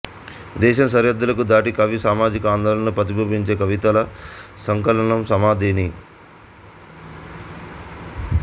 దేశం సరిహద్దులను దాటి కవి సామాజిక ఆందోళనను ప్రతిబింబించే కవితల సంకలనం సమాధేని